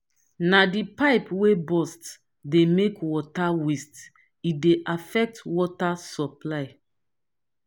na di pipe wey burst dey make water waste e dey affect water supply.